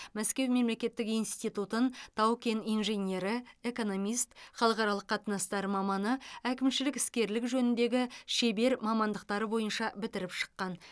мәскеу мемлекеттік институтын тау кен инженері экономист халықаралық қатынастар маманы әкімшілік іскерлік жөніндегі шебер мамандықтары бойынша бітіріп шыққан